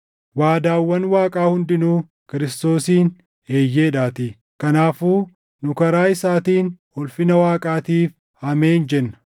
Waadaawwan Waaqaa hundinuu Kiristoosiin “Eeyyeedhaatii”. Kanaafuu nu karaa isaatiin ulfina Waaqaatiif “Ameen” jenna.